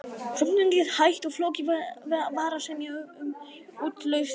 Söfnunin gekk hægt og flókið var að semja um útlausn þrælanna.